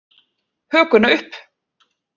Hökuna upp.